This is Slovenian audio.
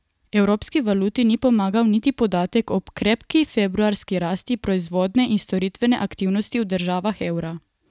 Evropski valuti ni pomagal niti podatek o krepki februarski rasti proizvodne in storitvene aktivnosti v državah evra.